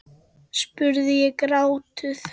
spurði ég gáttuð.